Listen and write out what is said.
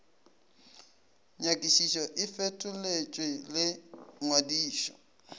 nyakišišo e fetoletšwe le ngwadišo